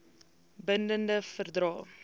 bin dende verdrae